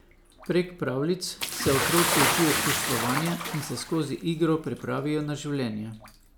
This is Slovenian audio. Prek pravljic se otroci učijo čustvovanja in se skozi igro pripravijo na življenje.